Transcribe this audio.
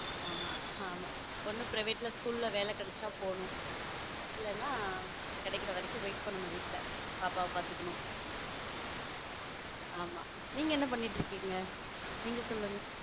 ஆமா ஆமா ஒன்னு private school ல வேலை கிடைச்சா போகணும். இல்லனா கிடைக்கிற வரைக்கும் wait பண்ணனும் வீட்ல பாப்பாவ பாத்துக்கணும் ஆமா நீங்க என்ன பண்ணிக்கிட்டு இருக்கீங்க? நீங்க சொல்லுங்க?